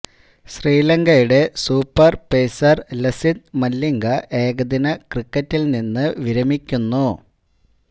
ശ്രീലങ്കയുടെ super pacer Lasith Malinga ഏകദിന ക്രിക്കറ്റില് നിന്ന് വിരമിക്കുന്നു